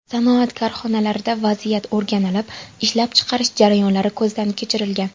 Sanoat korxonalaridagi vaziyat o‘rganilib, ishlab chiqarish jarayonlari ko‘zdan kechirilgan.